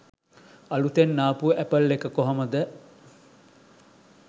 අලුතෙන් ආපු ඇපල් එක කොහොමද